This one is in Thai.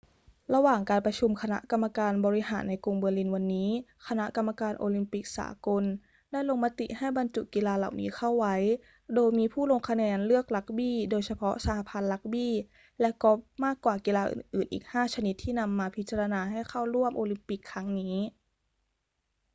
ระหว่างการประชุมคณะกรรมการบริหารในกรุงเบอร์ลินวันนี้ คณะกรรมการโอลิมปิกสากลได้ลงมติให้บรรจุกีฬาเหล่านี้เข้าไว้ โดยมีผู้ลงคะแนนเลือกรักบี้ โดยเฉพาะสหพันธ์รักบี้ และกอล์ฟมากกว่ากีฬาอื่นๆ อีก 5 ชนิดที่นำมาพิจารณาให้เข้าร่วมโอลิมปิกครั้งนี้